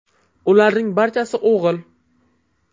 Ularning barchasi o‘g‘il.